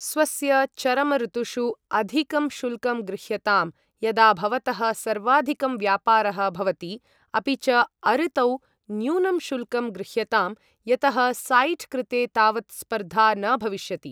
स्वस्य चरमऋतुषु अधिकं शुल्कं गृह्यताम्, यदा भवतः सर्वाधिकं व्यापारः भवति, अपि च अऋतौ न्यूनं शुल्कं गृह्यताम् यतः साइट् कृते तावत् स्पर्धा न भविष्यति।